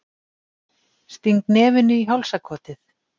Sting nefinu í hálsakotið.